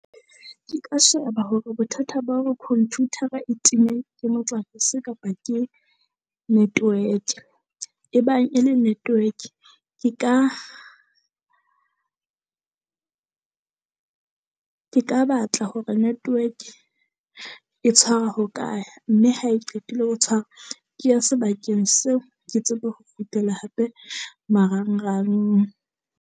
Ke ka sheba hore bothata ba hore computer-ra e time motlakase kapa ke network. E bang e le network, ke ka ke ka batla hore network e tshwara ho kae, mme ha e qetile ho tshwara. Ke ya sebakeng seo ke tsebe ho kgutlela hape. Marangrang.